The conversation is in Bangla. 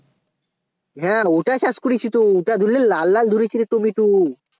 হ্যাঁ ওটা চাষ করেছি তো ওটা ধরেলে লাল লাল ধরেছেরে টমেটো